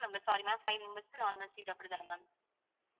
ma'am sorry ma'am five members க்கு normal seat அப்படிதான ma'am